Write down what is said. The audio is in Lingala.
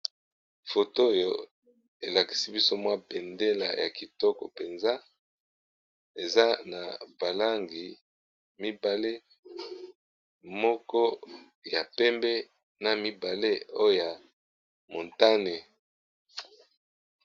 Photo oyo el akisi biso mwa bendele ya kitoko penza eza na ba langi mibale, moko ya pembe na mibale o ya montane .